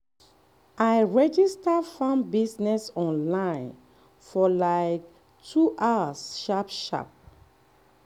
i register farm business online for like 2 hours sharp-sharp